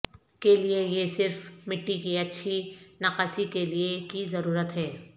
کے لئے یہ صرف مٹی کی اچھی نکاسی کے لئے کی ضرورت ہے